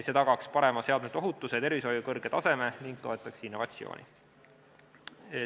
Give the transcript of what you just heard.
See tagaks parema seadmete ohutuse ja tervishoiu kõrge taseme ning toetaks innovatsiooni.